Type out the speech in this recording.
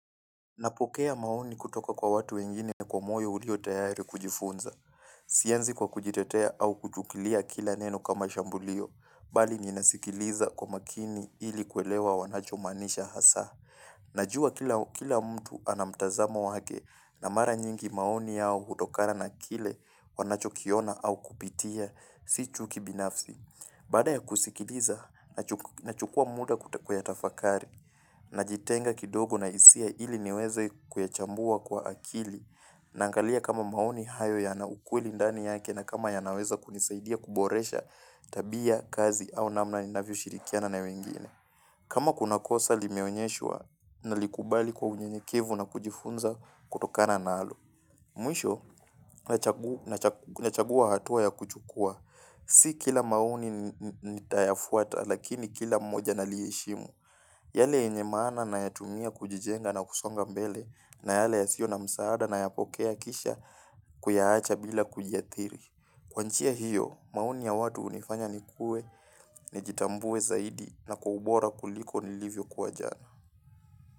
Napokea maoni kutoka kwa watu wengine kwa moyo hulio tayari kujifunza. Sianzi kwa kujitetea au kujukilia kila neno kama shambulio, bali ninasikiliza kwa makini ili kwelewa wanachomanisha hasa. Najua kila mtu anamtazamo wake na mara nyingi maoni yao hudokana na kile wanachokiona au kupitia, si chuki binafzi. Bada ya kusikiliza, nachukua muda kuyatafakari, najitenga kidogo na isia ili niweze kuyachambua kwa akili na angalia kama maoni hayo ya na ukweli ndani yake na kama ya naweza kunisaidia kuboresha tabia, kazi au namna ninavyo shirikiana na wengine. Kama kuna kosa limeonyeshua nalikubali kwa unyenyekevu na kujifunza kutokana nalo. Mwisho, nachagua hatua ya kuchukua. Si kila mauni nitayafuata lakini kila mmoja naliheshimu. Yale yenye mana nayatumia kujijenga na kusonga mbele na yale yasio na msaada na yapokea kisha kuyahacha bila kujiatiri. Kwa nchia hiyo, maoni ya watu unifanya nikue, nijitambue zaidi na kwa ubora kuliko nilivyo kuwa jana.